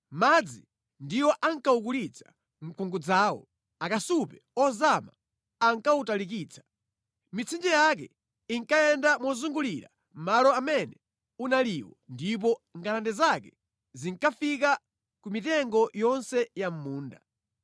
Madzi ndiwo ankawukulitsa mkungudzawo, akasupe ozama ankawutalikitsa. Mitsinje yake inkayenda mozungulira malo amene unaliwo ndipo ngalande zake zinkafika ku mitengo yonse ya mʼmunda.